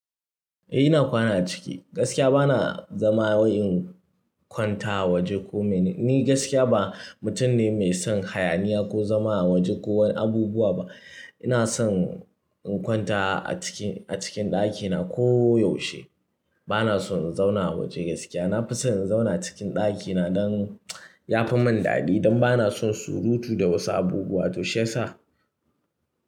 Eh ina kwana a ciki. Gaskiya bana zama wai in kwanta a waje ko mene. Ni gaskiya ba mutum ne mai son hayaniya ko zama a waje ko wani abubuwa ba. Ina son in kwanta a ciki, a cikin ɗakina ko yaushe. Bana son in zauna a waje gaskiya. Nafi son in zauna a cikin ɗakina don yafi mun daɗi don bana son surutu da wasu abubuwa to shiyasa.